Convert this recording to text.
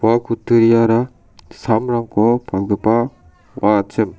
ua kutturiara samrangko palgipa ong·achim.